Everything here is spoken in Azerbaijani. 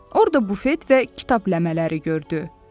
Orda bufet və kitab ləmələri gördü.